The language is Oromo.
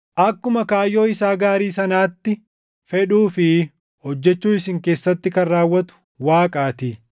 akkuma kaayyoo isaa gaarii sanaatti fedhuu fi hojjechuu isin keessatti kan raawwatu Waaqaatii.